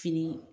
Fini